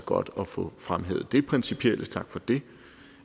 godt at få fremhævet det principielle tak for det